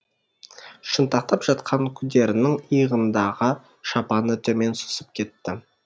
шынтақтап жатқан күдерінің иығындағы шапаны төмен сусып кетті